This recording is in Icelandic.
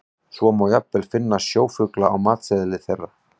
Svo má jafnvel finna sjófugla á matseðli þeirra.